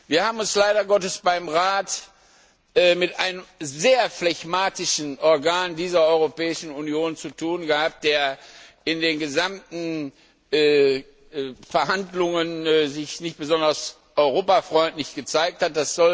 Wir haben es leider Gottes beim Rat mit einem sehr phlegmatischen Organ dieser Europäischen Union zu tun gehabt, das sich in den gesamten Verhandlungen nicht besonders europafreundlich gezeigt hat.